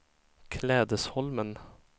Klädesholmen